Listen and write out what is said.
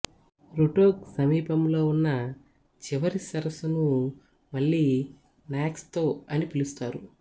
Rutog సమీపంలో ఉన్న చివరి సరస్సును మళ్ళీ న్యాక్ త్సో అని పిలుస్తారు